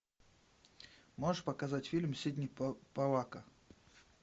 можешь показать фильм сидни поллака